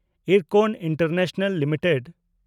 Ircon International limited